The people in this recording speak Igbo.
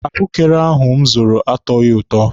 Ahụekere ahụ m zụrụ atọghị ụtọ.